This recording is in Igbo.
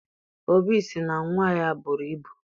Obi sị na nnwa ya buru ibu